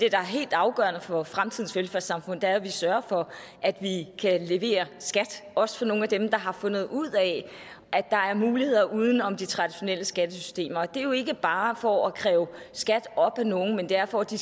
er helt afgørende for fremtidens velfærdssamfund er at vi sørger for at vi kan levere skat også til nogle af dem der har fundet ud af at der er muligheder uden om de traditionelle skattesystemer det er jo ikke bare for at kræve skat op fra nogen men det er fordi